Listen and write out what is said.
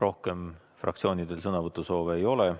Rohkem fraktsioonidel sõnavõtusoovi ei ole.